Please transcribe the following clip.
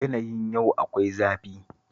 Yanayin yau akwai zafi